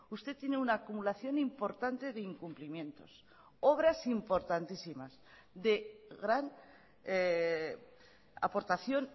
usted tiene una acumulación importante de incumplimientos obras importantísimas de gran aportación